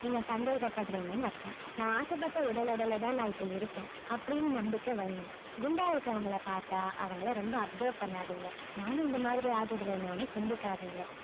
நீங்க சந்தேகப்படுறீங்கன்னு அர்த்தம் நான் ஆசைப்பட்ட உடல் எடையில தான் நான் இப்ப இருக்கேன் அப்படின்னு நம்பிக்கை வையுங்க குண்டா இருக்குறவங்களை பாத்தா அவங்களை ரொம்ப observe பண்ணாதீங்க நானும் இந்த மாதிரி ஆகிடுவேனோன்னு சிந்திக்காதீங்க